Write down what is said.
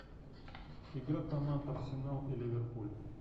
игра команд арсенал и ливерпуль